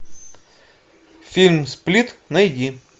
фильм сплит найди